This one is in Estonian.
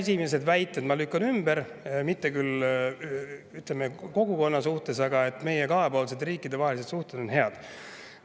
Esimese väite ma lükkan ümber, mitte küll, ütleme, kogukonna, aga selle, et meie riikide vahelised kahepoolsed suhted head.